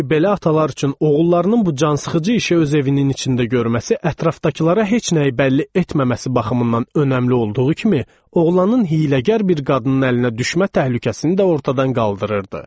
Çünki belə atalar üçün oğullarının bu cansıxıcı işi öz evinin içində görməsi ətrafdakılara heç nəyi bəlli etməməsi baxımından önəmli olduğu kimi, oğlanın hiyləgər bir qadının əlinə düşmə təhlükəsini də ortadan qaldırırdı.